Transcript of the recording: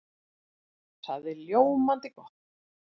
Það er ljómandi gott!